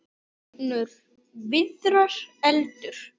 Jórunn Viðar: Eldur.